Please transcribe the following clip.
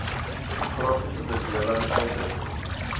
demokratiese bedeling uitdrukking